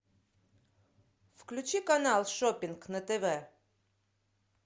включи канал шоппинг на тв